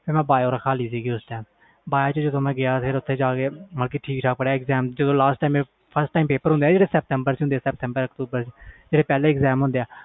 ਤੇ ਮੈਂ bio ਵਿਚ ਗਿਆ bio ਪੜ੍ਹੀ ਜਦੋ last ਵਿਚ exam ਹੁੰਦੇ ਆ ਸਤਬਰ ਅਕਤੂਬਰ ਵਿਚ